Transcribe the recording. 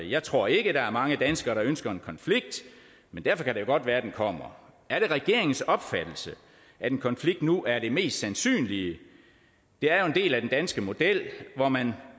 jeg tror ikke der er mange danskere der ønsker en konflikt men derfor kan det jo godt være den kommer er det regeringens opfattelse at en konflikt nu er det mest sandsynlige det er jo en del af den danske model hvor man